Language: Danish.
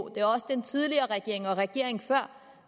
er også den tidligere regering og regeringen før